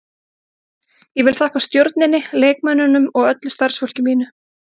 Ég vil þakka stjórninni, leikmönnunum og öllu starfsfólki mínu.